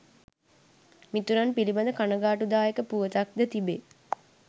මිතුරන් පිලිබඳ කණගාටුදායක පුවතක් ද තිබේ.